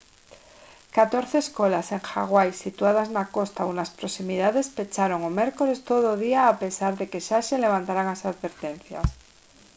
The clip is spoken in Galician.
catorce escolas en hawai situadas na costa ou nas proximidades pecharon o mércores todo o día a pesar de que xa se levantaran as advertencias